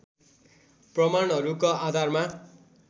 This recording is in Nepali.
प्रमाणहरूका आधारमा